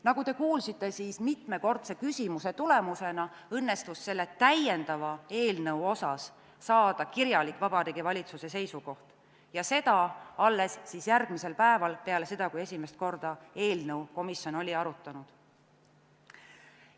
Nagu te kuulsite, siis mitmekordse küsimise tulemusena õnnestus selle täiendava eelnõu kohta saada kirjalik Vabariigi Valitsuse seisukoht, ja seda alles järgmisel päeval peale seda, kui esimest korda oli komisjon eelnõu arutanud.